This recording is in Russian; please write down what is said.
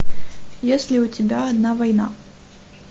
есть ли у тебя одна война